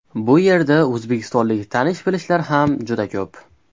Bu yerda o‘zbekistonlik tanish-bilishlar ham juda ko‘p.